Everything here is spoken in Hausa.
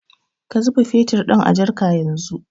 Ka zuba fetur ɗin a jarka yanzu